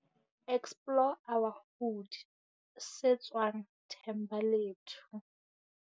Explore our Hood, se tswang Thembalethu.